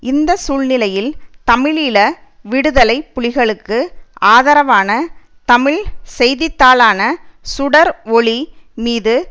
இந்த சூழ்நிலையில் தமிழீழ விடுதலை புலிகளுக்கு ஆதரவான தமிழ் செய்தித்தாளான சுடர் ஒளி மீது